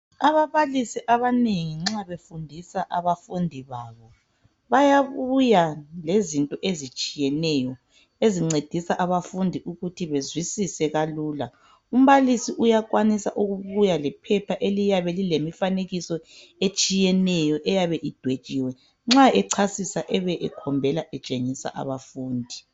Ababalisi abanengi nxa befundisa abafundi babo bayabuya lezinto ezitshiyeneyo ezincedisa abafundi ukuthi bezwisise kalula umbalisi uyakwanisa ukubuya lephepha eliyabe lilemifanekiso etshiyeneyo eyabe idwetshiwe nxa echasisa ebe ekhombela etshengisa abafundi.